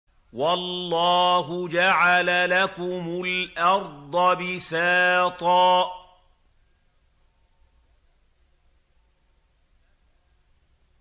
وَاللَّهُ جَعَلَ لَكُمُ الْأَرْضَ بِسَاطًا